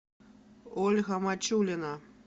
ольга мачулина